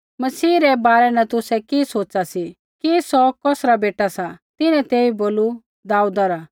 मसीह रै बारै न तुसै कि सोच़ा सी कि सौ कौसरा बेटा सा तिन्हैं तेइबै बोलू दाऊदा रा